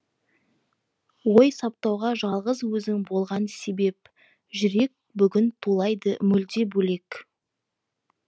ой саптауға жалғыз өзің болған себеп жүрек бүгін тулайды мүлде бөлек